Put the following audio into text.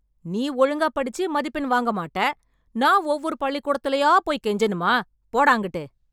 நீ ஒழுங்கா படிச்சு மதிப்பெண் வாங்க மாட்ட. நான் ஒவ்வொரு பள்ளிக்கூடத்துலயா போய் கெஞ்சணுமா? போடா அங்கிட்டு.